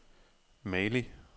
Mali